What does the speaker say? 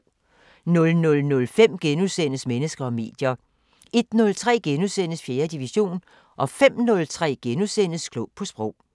00:05: Mennesker og medier * 01:03: 4. division * 05:03: Klog på Sprog *